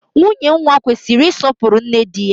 Nwunye nwa kwesịrị isọpuru nne dị ya